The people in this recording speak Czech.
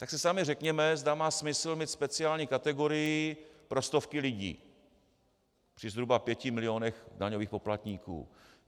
Tak si sami řekněme, zda má smysl mít speciální kategorii pro stovky lidí při zhruba pěti milionech daňových poplatníků.